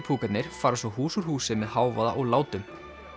púkarnir fara svo hús úr húsi með hávaða og látum